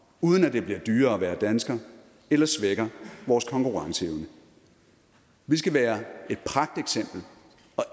uden at det blive dyrere at være dansker eller svækker vores konkurrenceevne vi skal være